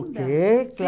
Toquei,